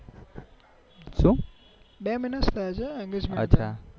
બે મહિના જ થયા છે engagement થયા